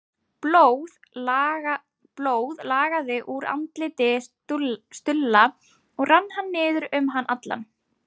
Blóð lagaði úr andliti Stulla og rann niður um hann allan.